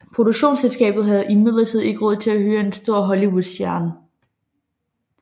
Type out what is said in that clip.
Produktionsselskabet havde imidlertid ikke råd til at hyre en stor Hollywoodstjerne